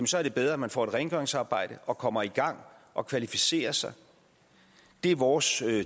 så er det bedre at man får et rengøringsarbejde og kommer i gang og kvalificerer sig det er vores